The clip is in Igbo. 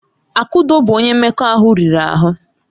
Akudo bụ onye mmekọahụ riri ahụ.